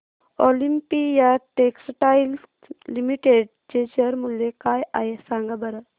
Olympia textiles limited चे share मूल्य काय आहे सांगा बरं